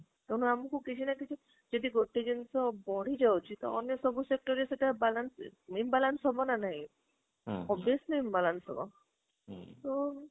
ତ ନା ଆମକୁ କିଛି ନା କିଛି ଯଦି ଗୋଟେ ଜିନିଷ ବଢି ଯାଉଛି ତ ଅନ୍ୟ sector ରେ ସେଇଟା balance imbalance ହବ ନା ନାହିଁ obviously imbalance ହବ ତ